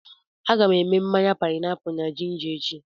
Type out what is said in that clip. A ga m èmè mmanya páịnápụlụ na jinja echi